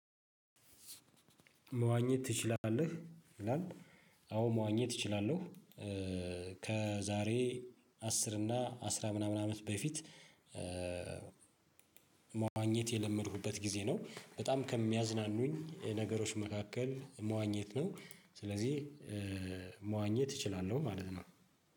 መዋኘት ትችላለህ ይላል። አዎ መዋኘት እችላለሁ። ከዛሬ አስር እና አስራ ምናምን አመት በፊት መዋኘት የለመድኩበት ጊዜ ነው። በጣም ከሚያዝናኑኝ ነገሮች መካከል መዋኘት ነው። ስለዚህ መዋኘት እችላለሁ ማለት ነው።